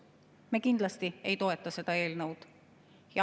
Me kindlasti ei toeta seda eelnõu.